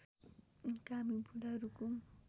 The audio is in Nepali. कामी बुढा रुकुम